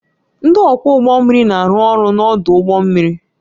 Ndị ọkwọ ụgbọ mmiri na-arụ ọrụ n'ọdụ ụgbọ mmiri